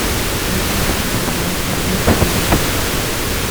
найди фильмы в жанре мультфильм